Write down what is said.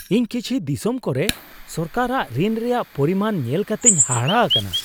ᱤᱧ ᱠᱤᱪᱷᱩ ᱫᱤᱥᱚᱢ ᱠᱚᱨᱮ ᱥᱚᱨᱠᱟᱨᱟᱜ ᱨᱤᱱ ᱨᱮᱭᱟᱜ ᱯᱚᱨᱤᱢᱟᱱ ᱧᱮᱞ ᱠᱟᱛᱮᱧ ᱦᱟᱦᱟᱲᱟ ᱟᱠᱟᱱᱟ ᱾